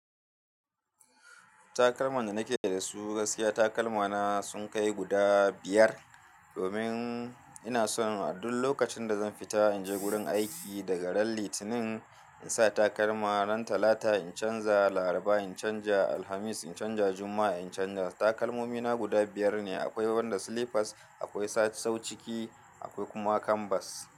Takalman da nake da su gaskiya takalmana sun kai guda biyar. Domin ina son a duk lokacin da zan fita in je wurin aiki daga ran Litinin in sa takalma, ran Talata in canza, Laraba in canza, Alhamis in canza, Juma'a in canza. Takalmomina guda biyar ne. Akwai wanda slippers, akwai sassau ciki, akwai kuma canvas.